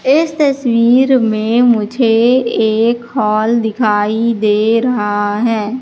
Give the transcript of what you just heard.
इस तस्वीर में मुझे एक हॉल दिखाई दे रहा है।